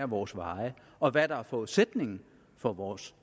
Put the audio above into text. vores veje og hvad der er forudsætningen for vores